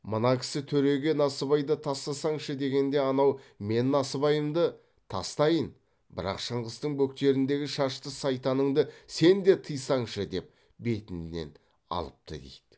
мына кісі төреге насыбайды тастасаңшы дегенде анау мен насыбайымды тастайын бірақ шыңғыстың бөктеріндегі шашты сайтаныңды сен де тыйсаңшы деп бетінен алыпты дейді